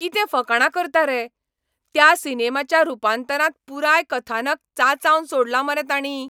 कितें फकाणां करता रे? त्या सिनेमाच्या रुपांतरांत पुराय कथानक चांचावन सोडलां मरे तांणी.